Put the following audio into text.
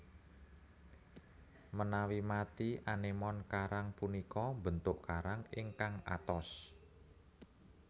Menawi mati anémon karang punika mbentuk karang ingkang atos